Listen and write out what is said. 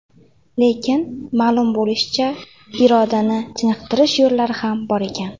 Lekin, ma’lum bo‘lishicha, irodani chiniqtirish yo‘llari ham bor ekan.